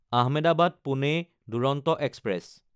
আহমেদাবাদ–পুনে Duronto express